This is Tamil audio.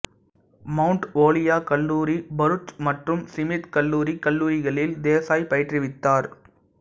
மவுண்ட் ஓலியோக் கல்லூரி பரூச் மற்றும் சிமித் கல்லூரி கல்லூரிகளில் தேசாய் பயிற்றுவித்தார்